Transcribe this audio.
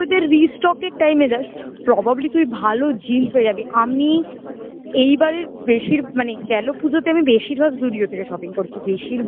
তুই ওদের restock র time এ যাস probably তুই ভালো jeans পেয়ে যাবি আমি এইবারের বেশির মানে গেল পুজোতে আমি বেশিরভাগ Zudio থেকে shopping করেছি বেশিরভাগ